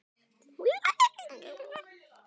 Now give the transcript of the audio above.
Strítt hvor öðrum.